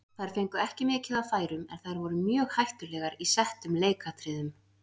Þær fengu ekki mikið af færum en þær voru mjög hættulegar í settum leikatriðum.